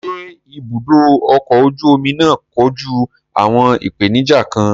Ṣé ibùdó ọkọ̀ ojú omi náà kojú àwọn ìpèníjà kan?